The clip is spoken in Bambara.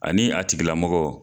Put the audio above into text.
Ani a tigi lamɔgɔ